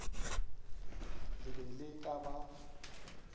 le be le ka ba